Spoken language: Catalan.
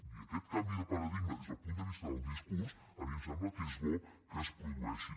i aquest canvi de paradigma des del punt de vista del discurs a mi em sembla que és bo que es produeixi